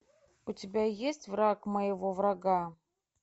у тебя есть враг моего врага